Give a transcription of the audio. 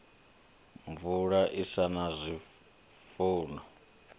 mvula i sa na zwifuwo